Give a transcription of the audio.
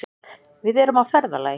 Við erum á ferðalagi.